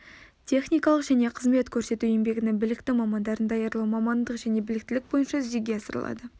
техникалық және қызмет көрсету еңбегінің білікті мамандарын даярлау мамандық және біліктілік бойынша жүзеге асырылады